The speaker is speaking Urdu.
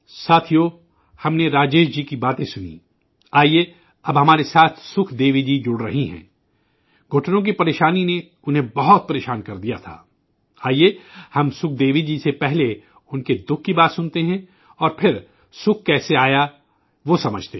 ساتھیو، ہم نے راجیش جی کی باتیں سنیں، آیئے اب ہمارے ساتھ سکھ دیوی جی جڑ رہی ہیں، گھٹنوں کی تکلیف نے انہیں بہت پریشان کررکھا تھا، آئیے ہم سکھ دیوی جی سے پہلے ان کی تکلیف کی بات سکتے ہیں اور پھرسکھ کیسے آیا وہ سمجھتے ہیں